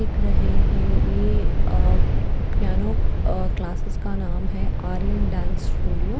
देख रहे हैं ये अ पियानो अह क्लासेस का नाम है आरियन डांस स्टूडियो --